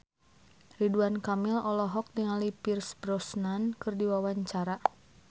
Ridwan Kamil olohok ningali Pierce Brosnan keur diwawancara